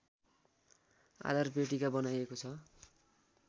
आधार पेटिका बनाइएको छ